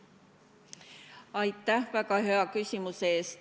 Aitäh väga hea küsimuse eest!